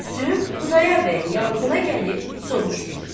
Gülsüm Xudayar bəyin yavığına gəlib soruşdu: